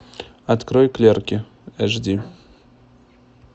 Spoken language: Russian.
открой клерки эш ди